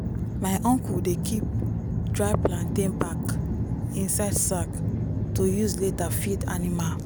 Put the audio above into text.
my uncle dey keep dry plantain back inside sack to use later feed animal.